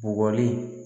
Bugɔli